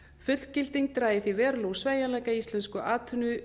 fullgilding drægi því verulega úr sveigjanleika í íslensku atvinnulífi